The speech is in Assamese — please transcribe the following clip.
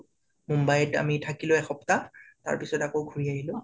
মুম্বাইত অমি থাকিলো এসপ্তাহ তাৰ পিছত আকৌ ঘূৰি আহিলোঁ